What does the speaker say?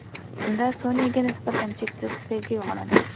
Unda Sonyaga nisbatan cheksiz sevgi uyg‘onadi.